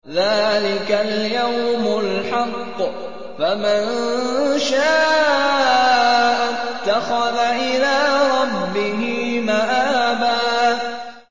ذَٰلِكَ الْيَوْمُ الْحَقُّ ۖ فَمَن شَاءَ اتَّخَذَ إِلَىٰ رَبِّهِ مَآبًا